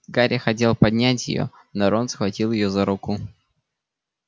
гарри хотел поднять её но рон схватил её за руку